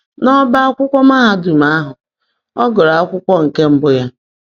N’ọbaakwụkwọ mahadum ahụ, ọ gụrụ akwụkwọ nke mbụ ya.